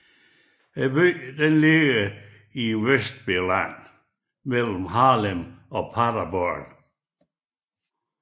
Byen ligger i Weserbergland mellem Hameln og Paderborn